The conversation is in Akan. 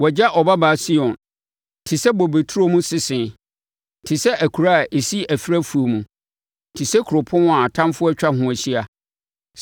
Wɔagya Ɔbabaa Sion te sɛ bobe turo mu sese te sɛ akuraa a ɛsi ɛferɛ afuo mu, te sɛ kuropɔn a atamfoɔ atwa ho ahyia.